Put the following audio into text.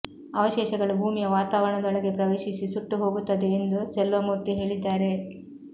ಅವಶೇಷಗಳು ಭೂಮಿಯ ವಾತಾವರಣದೊಳಗೆ ಪ್ರವೇಶಿಸಿ ಸುಟ್ಟು ಹೋಗುತ್ತದೆ ಎಂದು ಸೆಲ್ವಮೂರ್ತಿ ಹೇಳಿದ್ದಾರೆ